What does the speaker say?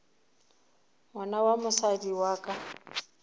ngwana wa mosadi wa ka